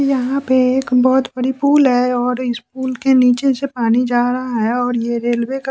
यहाँ पे एक बहुत बड़ी पूल है और इस पूल के नीचे से पानी जा रहा है और ये रेलवे का --